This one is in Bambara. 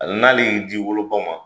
Hali n'ale y'i d'i woloba ma,